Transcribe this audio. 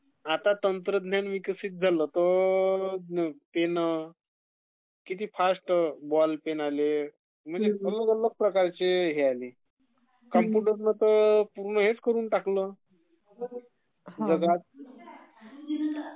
आता तंत्रज्ञान विकसित झलं तर..पेनं, किती फास्ट बॉलपेम आले...अलग अलग प्रकारचे हे आले.......कॉम्पुटरनं तर पूर्ण हेच करुन टाकलं जगात..